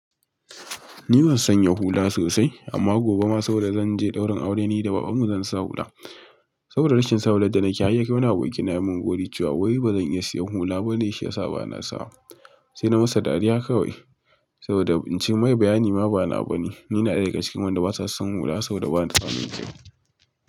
Ina sanya hula sosai amma gobe ma saboda zanje daurin aure nida baban mu zan sa hula saboda rashin sawar da nakeyi har yakai wani aboki na yamun gori cewa wai bazan iya siyan hula bane shi yasa bana sawa. Sai na masa dariya kawai saboda in mai bayani ma ba nawa bane. Ni ina ɗaya daga cikin wanda basa son hula saboda batamin.